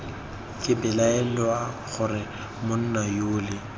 ke belaela gore monna yole